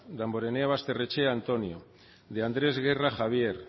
damborenea basterrechea antonio de andrés guerra javier